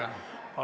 Palun küsimus!